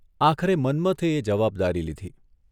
આખરે મન્મથે એ જવાબદારી લીધી.